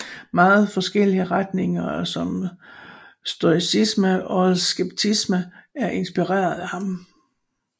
Meget forskellige retninger som stoicisme og skepticisme er inspireret af ham